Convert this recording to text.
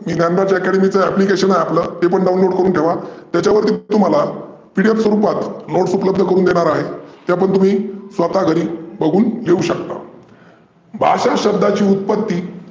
Dnyanraj academy चं application आहे ते पण download करून ठेवा. त्याच्यवरती तुम्हाला PDF स्वरुपात notes उपलब्ध करूण देणार आहे. त्यापण तुम्ही स्वता बघून लिहू शकता. भाषा शब्दाची उत्पत्ती